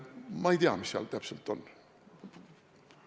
Ma ei tea, mis seal täpselt on.